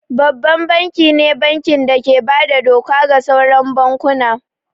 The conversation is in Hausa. Babban banki ne banki da ke bada doka ga sauran bankuna